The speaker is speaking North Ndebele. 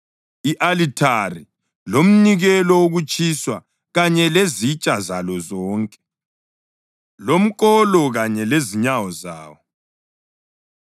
i-alithari lomnikelo wokutshiswa kanye lezitsha zalo zonke, lomkolo kanye lezinyawo zawo